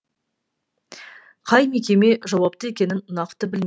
қай мекеме жауапты екенін нақты білмеймін